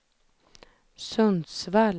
Sundsvall